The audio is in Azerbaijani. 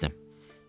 axırda bezdim.